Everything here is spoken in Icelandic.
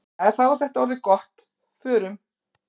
Jæja, þá er þetta orðið gott. Förum.